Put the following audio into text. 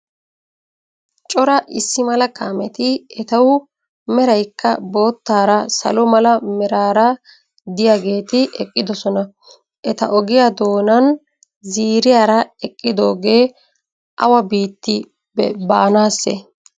Cora issi mala kaameti etawu meraykka boottaara salo mala meraara diyageeti eqqidosona. Eta ogiya doonan ziiriyaara eqqidogee awa biitti baanaassee?